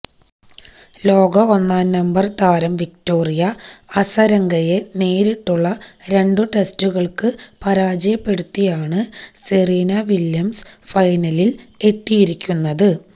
ലോക ഒന്നാം നമ്പര് താരം വിക്ടോറിയ അസരങ്കയെ നേരിട്ടുള്ള രണ്ട് സെറ്റുകള്ക്ക് പരാജയപ്പെടുത്തിയാണ് സെറീന വില്യംസ് ഫൈനലില് എത്തിയിരിക്കുന്നത്